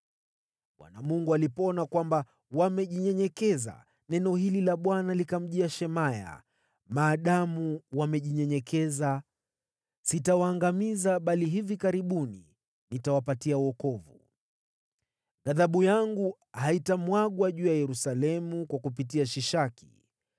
Bwana Mungu alipoona kwamba wamejinyenyekeza, neno hili la Bwana likamjia Shemaya: “Maadamu wamejinyenyekeza, sitawaangamiza bali hivi karibuni nitawapatia wokovu. Ghadhabu yangu haitamwagwa juu ya Yerusalemu kwa kupitia Shishaki.